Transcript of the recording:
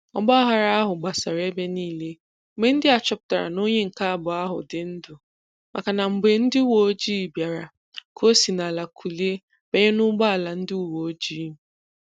ọgbaaghara ahu gbasara ebe niile mgbe ndị a chọpụtara na onye nke abụọ ahụ dị ndụ maka na mgbe ndị uweojii bịara ka ọ si n'ala kulie banye n'ụgbọala ndị uweojii